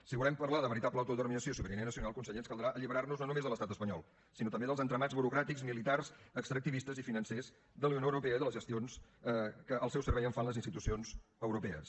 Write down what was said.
si volem parlar de veritable autodeterminació i sobirania nacional conseller ens caldrà alliberar nos no només de l’estat espanyol sinó també dels entramats burocràtics militars extractivistes i financers de la unió europea i de les gestions que al seu servei fan les institucions europees